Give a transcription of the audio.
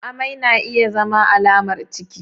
Amai na iya zama alamar ciki.